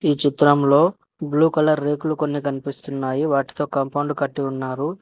ఈ చిత్రంలో blue colour రేకులు కొన్ని కనిపిస్తున్నాయి వాటితో కాంపౌండ్ కట్టి ఉన్నారు.